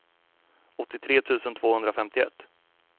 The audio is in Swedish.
åttiotre tusen tvåhundrafemtioett